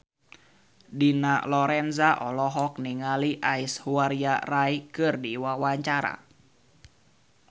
Dina Lorenza olohok ningali Aishwarya Rai keur diwawancara